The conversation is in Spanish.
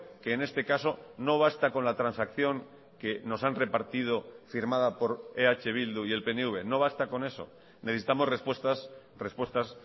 que en este caso no basta con la transacción que nos han repartido firmada por eh bildu y el pnv no basta con eso necesitamos respuestas respuestas